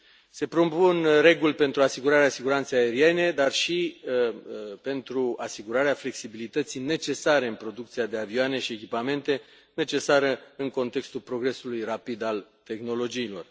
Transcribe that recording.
Se propun reguli pentru asigurarea siguranței aeriene, dar și pentru asigurarea flexibilității necesare în producția de avioane și echipamente, necesară în contextul progresului rapid al tehnologiilor.